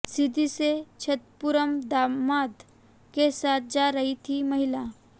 सीधी से छतरपुर दामाद के साथ जा रही थी महिला